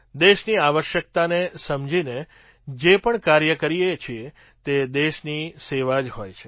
દેશની આવશ્યકતાને સમજીને જે પણ કાર્ય કરીએ છીએ તે દેશની સેવા જ હોય છે